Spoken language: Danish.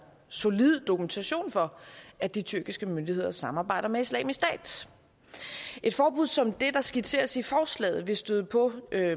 solid dokumentation for at de tyrkiske myndigheder samarbejder med islamisk stat et forbud som det der skitseres i forslaget vil støde på